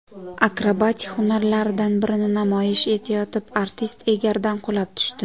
Akrobatik hunarlaridan birini namoyish etayotib, artist egardan qulab tushdi.